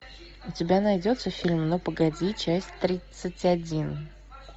у тебя найдется фильм ну погоди часть тридцать один